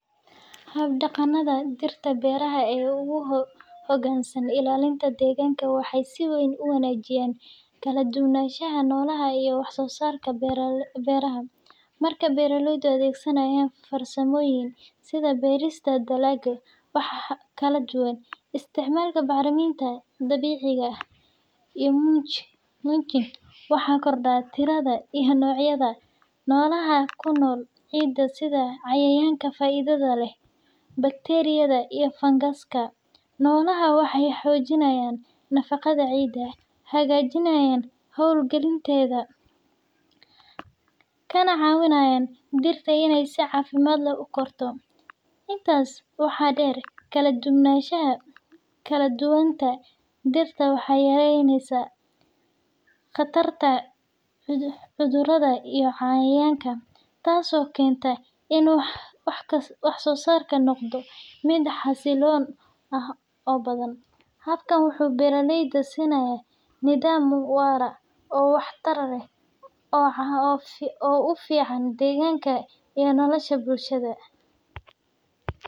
Hab-dhaqannada dhirta beeraha ee u hoggaansan ilaalinta deegaanka waxay si weyn u wanaajiyaan kala-duwanaanshaha noolaha iyo wax-soo-saarka beeraha. Marka beeraleydu adeegsadaan farsamooyin sida beerista dalagyo kala duwan, isticmaalka bacriminta dabiiciga ah, iyo mulching, waxaa kordha tirada iyo noocyada noolaha ku nool ciidda sida cayayaanka faa’iidada leh, bakteeriyada, iyo fangaska. Noolahaan waxay xoojiyaan nafaqada ciidda, hagaajiya hawo-gelinteeda, kana caawiyaan dhirta inay si caafimaad leh u korto. Intaas waxaa dheer, kala-duwanaanta dhirta waxay yareysaa khatarta cudurrada iyo cayayaanka, taasoo keenta in wax-soo-saarku noqdo mid xasilloon oo badan. Habkan wuxuu beeraleyda siinayaa nidaam waara oo waxtar leh oo u fiican deegaanka iyo nolosha bulshada.